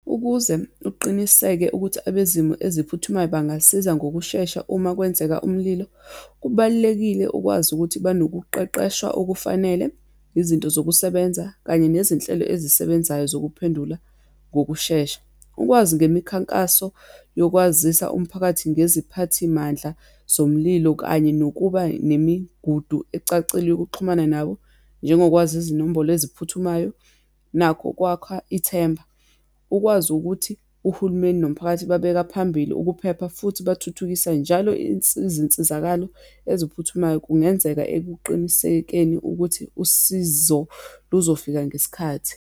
Ukuze uqiniseke ukuthi abezimo eziphuthumayo bangasiza ngokushesha uma kwenzeka umlilo, kubalulekile ukwazi ukuthi banokuqeqeshwa okufanele, izinto zokusebenza, kanye nezinhlelo ezisebenzayo zokuphendula ngokushesha. Ukwazi ngemikhankaso yokwazisa umphakathi ngeziphathimandla zomlilo, kanye nokuba nemigudu ecacile yokuxhumana nabo, njengokwazi izinombholo eziphuthumayo, nakho kwakha ithemba. Ukwazi ukuthi uhulumeni nomphakathi babeka phambili ukuphepha, futhi bathuthukisa njalo izinsizakalo eziphuthumayo, kungenzeka ekuqinisekeni ukuthi usizo lizofika ngesikhathi.